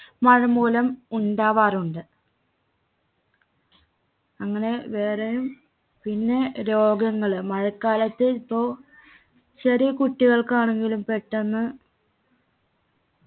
മഴമൂലം ഉണ്ടാവാറുണ്ട് അങ്ങനെ വേറെയും പിന്നെ രോഗങ്ങൾ മഴക്കാലത്ത് ഇപ്പൊ ചെറിയ കുട്ടികൾക്കാണെങ്കിലും പെട്ടെന്ന്